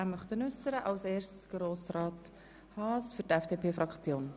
Zuerst spricht Grossrat Haas für die FDP-Fraktion.